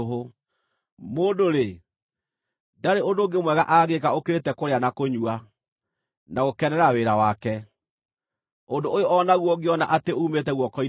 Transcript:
Mũndũ-rĩ, ndarĩ ũndũ ũngĩ mwega angĩĩka ũkĩrĩte kũrĩa na kũnyua, na gũkenera wĩra wake. Ũndũ ũyũ o naguo ngĩona atĩ uumĩte guoko-inĩ kwa Ngai,